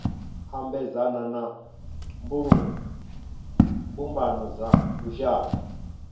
ambedzana na mbumbano dza lushaka